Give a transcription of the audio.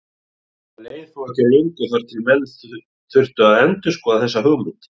Það leið þó ekki á löngu þar til menn þurftu að endurskoða þessa hugmynd.